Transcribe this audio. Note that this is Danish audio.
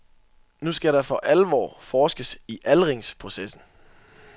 Nu skal der for alvor forskes i aldringsprocessen.